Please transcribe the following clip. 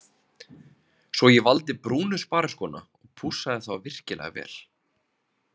Svo ég valdi brúnu spariskóna og pússaði þá virkilega vel.